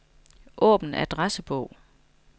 Åbn adressebog.